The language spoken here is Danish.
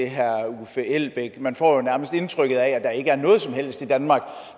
herre uffe elbæk man får jo nærmest indtrykket af at der ikke er noget som helst i danmark